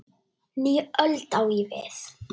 Nýja öld, á ég við.